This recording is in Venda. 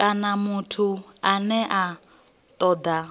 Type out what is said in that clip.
kana muthu ane a toda